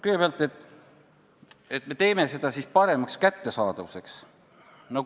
Kõigepealt see, et me teeme seda parema kättesaadavuse nimel.